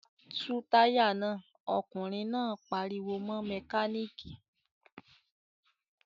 "Tú táyà náà!" Ọkùnrin náà pariwo mọ́ mẹkáníkì.